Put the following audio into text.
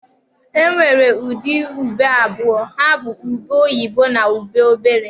E nwere ụdị ube abụọ, ha bụ ube oyibo na ube obere.